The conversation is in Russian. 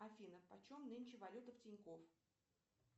афина почем нынче валюта в тинькофф